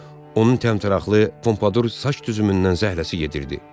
Onun təmtəraqlı pompadur saç düzümündən zəhləsi gedirdi.